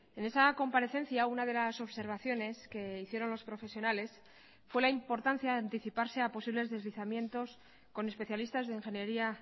en esa comparecencia una de las observaciones que hicieron los profesionales fue la importancia de anticiparse a posibles deslizamientos con especialistas de ingeniería